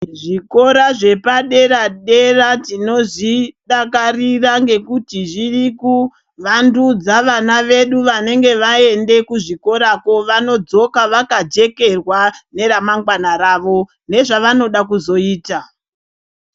Zvikora zvepadera dera tinozvidakarira ngekuti zviri kuvandudze vana vedu vanenge vaenda kuzvikorako vanodzoka vakajekerwa neremangwana ravo nezvavanoda kuzoita.